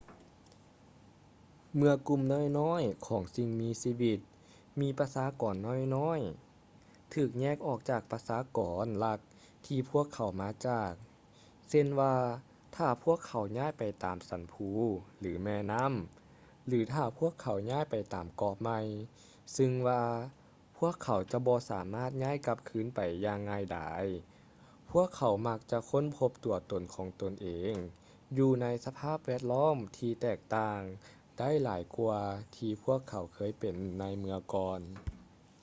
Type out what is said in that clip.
ເມື່ອກຸ່ມນ້ອຍໆຂອງສິ່ງມີຊີວິດ ມີປະຊາກອນນ້ອຍໆ ຖືກແຍກອອກຈາກປະຊາກອນຫຼັກທີ່ພວກເຂົາມາຈາກ ເຊັ່ນວ່າ ຖ້າພວກເຂົາຍ້າຍໄປຕາມສັນພູ ຫຼື ແມ່ນໍ້າ ຫຼື ຖ້າພວກເຂົາຍ້າຍໄປເກາະໃໝ່ ຊຶ່ງວ່າ ພວກເຂົາຈະບໍ່ສາມາດຍ້າຍກັບຄືນໄປຢ່າງງ່າຍດາຍ ພວກເຂົາມັກຈະຄົ້ນພົບຕົວຕົນຂອງຕົນເອງ ຢູ່ໃນສະພາບແວດລ້ອມທີ່ແຕກຕ່າງ ໄດ້ຫຼາຍກ່ວາທີ່ພວກເຂົາເຄີຍເປັນໃນເມື່ອກ່ອນ